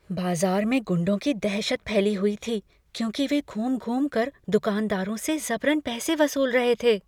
बाज़ार में गुंडों की दहशत फैली हुई थी, क्योंकि वे घूम घूमकर दुकानदारों से ज़बरन पैसे वसूल रहे थे।